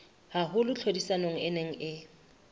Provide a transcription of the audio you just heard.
haholo tlhodisanong e neng e